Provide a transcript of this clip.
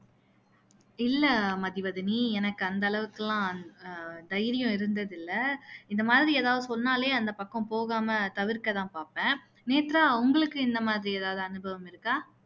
இல்ல மதிவதினி எனக்கு அந்த அளவுக்கு எல்லாம் அஹ் தைரியம் இருந்தது இல்ல இந்த மாதிரி எதாவது சொன்னாலே அந்த பக்கம் போகாம தவிர்க்க தான் பாப்பேன் நேத்ரா உங்களுக்கு இந்த மாதிரி எதாவது அனுபவம் இருக்கா